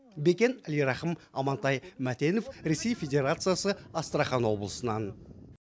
бекен әлирахым амантай мәтенов ресей федерациясы астрахань облысынан